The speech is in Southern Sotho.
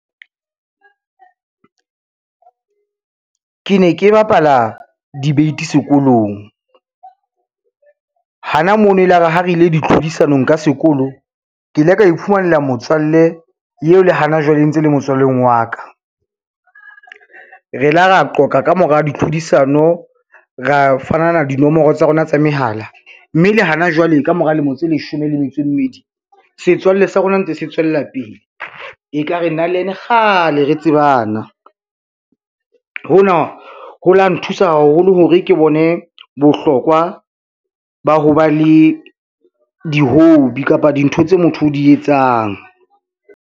Ke ne ke bapala debate sekolong, hana mono e la re ha re ile ditlhodisanong ka sekolo, ke ile ka iphumanela motswalle eo le hana jwale e ntse e le motswalleng wa ka. Re la ra qoqa ka mora ditlhodisano, ra fanana dinomoro tsa rona tsa mehala, mme le hana jwale ka mora lemo tse leshome le metso e mmedi, setswalle sa rona ntse se tswella pele e ka re nna le ena kgale re tsebana. Hona ho la nthusa haholo hore ke bone bohlokwa ba ho ba le di-hobby kapa dintho tse motho o di etsang.